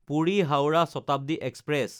Puri-Howrah Shatabdi express